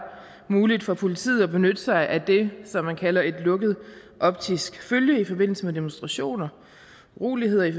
muligt for politiet at benytte sig af det som man kalder et lukket optisk følge i forbindelse med demonstrationer uroligheder i